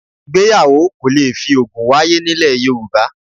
Ìgbéyàwó kò le fi òògùn wáyé nílẹ̀ Yorùbá